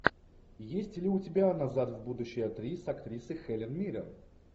есть ли у тебя назад в будущее три с актрисой хелен миррен